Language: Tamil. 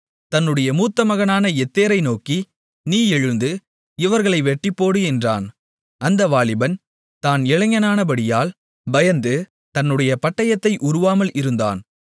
தன்னுடைய மூத்தமகனான யெத்தேரை நோக்கி நீ எழுந்து இவர்களை வெட்டிப்போடு என்றான் அந்த வாலிபன் தான் இளைஞனானபடியால் பயந்து தன்னுடைய பட்டயத்தை உருவாமல் இருந்தான்